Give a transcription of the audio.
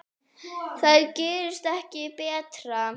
Það gerist ekki betra.